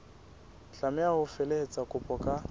tlameha ho felehetsa kopo ka